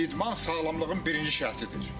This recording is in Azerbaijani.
İdman sağlamlığın birinci şərtidir.